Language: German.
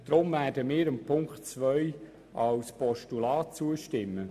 Deshalb werden wir Punkt 2 als Postulat zustimmen.